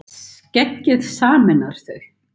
Skeggið sameinar þau